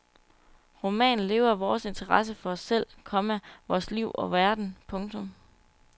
Romanen lever af vores interesse for os selv, komma vores liv og verden. punktum